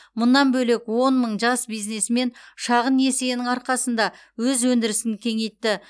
мұнан бөлек он мың жас бизнесмен шағын несиенің арқасында өз өндірісін кеңейтті